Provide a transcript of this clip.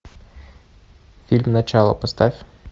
фильм начало поставь